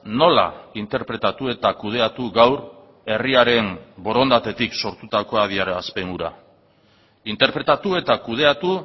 nola interpretatu eta kudeatu gaur herriaren borondatetik sortutako adierazpen hura interpretatu eta kudeatu